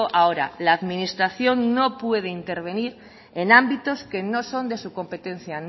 ahora la administración no puede intervenir en ámbitos que no son de su competencia